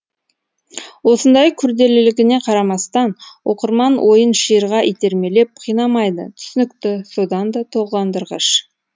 осындай күрделілігіне қарамастан оқырман ойын шиырға итермелеп қинамайды түсінікті содан да толғандырғыш